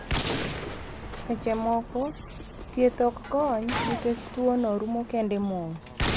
Seche moko ,thieth ok kony ni kech tuo no rumo kende mos.